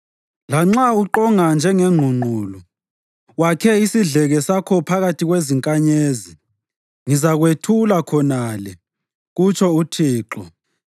Lanxa uqonga njengengqungqulu wakhe isidleke sakho phakathi kwezinkanyezi, ngizakwethula khonale,” kutsho uThixo.